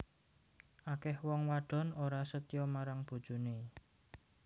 Akeh wong wadon ora setya marang bojone